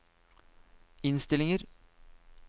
innstillinger